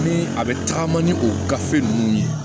Ni a bɛ taaga ni o gafe ninnu ye